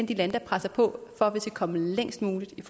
de lande der presser på for at vi skal komme længst muligt i